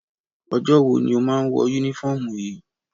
Ọjọ́ wo ni ó máa ń wọ únífọ́ọ́mù yìí?